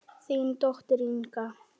Þín dóttir, Inga.